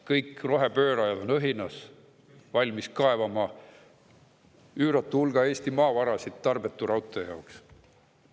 Kõik rohepöörajad on õhinas, valmis kaevandama üüratul hulgal Eesti maavarasid tarbetu raudtee jaoks.